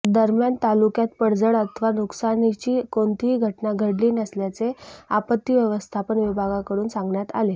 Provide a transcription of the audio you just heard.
दरम्यान तालुक्यात पडझड अथवा नुकसानीची कोणतीही घटना घडली नसल्याचे आपत्ती व्यवस्थापन विभागाकडून सांगण्यात आले